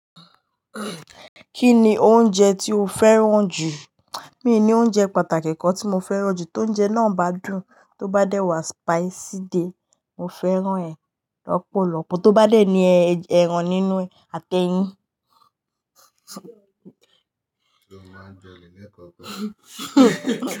Kí ni oúnjẹ tí o fẹ́ràn jù? Mi ò ní oúnjẹ pàtàkì kan tí mo fẹ́ràn jù. Tóúnjẹ náà bá dùn, tó bá dẹ́ wá spicy di e mo fẹ́ràn ẹ̀ lọ́pọ̀lọpọ̀. Tó bá dé ní ẹran nínú atẹ́yìn.